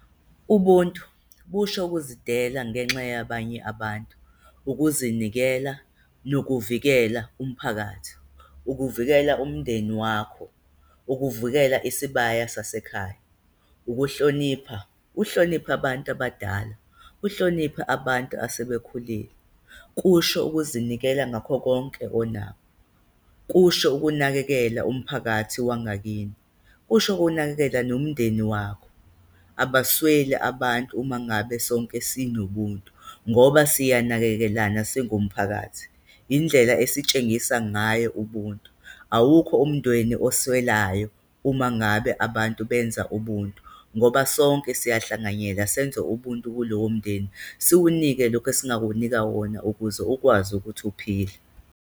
Ubuntu busho ukuzidela ngenxa yabanye abantu, ukuzinikela nokuvikela umphakathi, ukuvikela umndeni wakho, ukuvikela isibaya sasekhaya. Ukuhlonipha, uhloniphe abantu abadala, uhloniphe abantu asebekhulile, kusho ukuzinikela ngakho konke onakho, kusho ukunakekela umphakathi wangakini, kusho ukunakekela nomndeni wakho. Abasweli abantu uma ngabe sonke sinobuntu ngoba siyanakekelana singumphakathi, indlela esitshengisa ngayo ubuntu, awukho umndeni oswelayo umangabe abantu benza ubuntu ngoba sonke siyahlanganyela senze ubuntu kulowomndeni, siwunike lokhu esingawunika wona ukuze ukwazi ukuthi uphile.